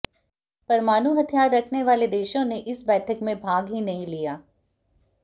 परमाणु हथियार रखने वाले देशों ने इस बैठक में भाग ही नहीं लिया